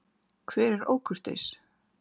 Hver er ókurteis?